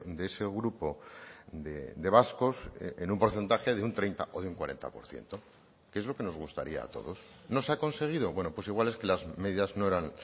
de ese grupo de vascos en un porcentaje de un treinta o de un cuarenta por ciento que es lo que nos gustaría a todos no se ha conseguido bueno pues igual es que las medidas no eran